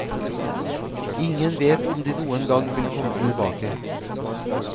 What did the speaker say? Ingen vet om de noen gang vil komme tilbake.